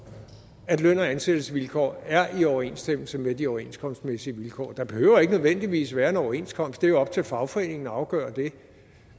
at løn og ansættelsesvilkår er i overensstemmelse med de overenskomstmæssige vilkår der behøver ikke nødvendigvis være en overenskomst det er jo op til fagforeningen at afgøre det